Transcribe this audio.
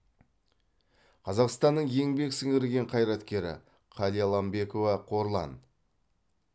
қазақстанның еңбек сіңірген қайраткері қалиаламбекова қорлан